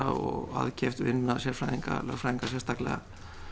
og aðkeypt vinna sérfræðinga lögfræðinga sérstaklega